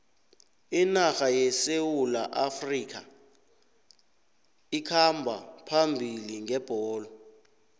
inarha yesewula afrikha ikhamba phambili ngebholo